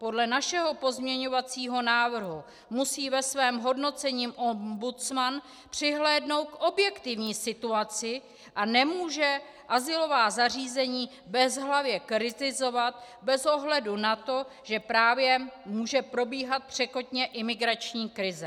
Podle našeho pozměňovacího návrhu musí ve svém hodnocení ombudsman přihlédnout k objektivní situaci a nemůže azylová zařízení bezhlavě kritizovat bez ohledu na to, že právě může probíhat překotně imigrační krize.